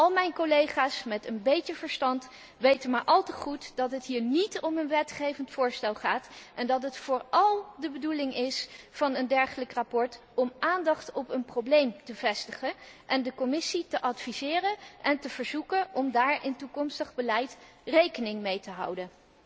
Al mijn collega's met een beetje verstand weten maar al te goed dat het hier niet om een wetgevend voorstel gaat, en dat de bedoeling van een dergelijk verslag vooral is om de aandacht op een probleem te vestigen en de Commissie te adviseren en te verzoeken daar in toekomstig beleid rekening mee te houden.